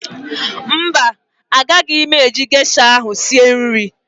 Mba, agaghị m eji gesha ahụ sie nri